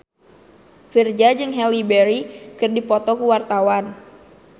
Virzha jeung Halle Berry keur dipoto ku wartawan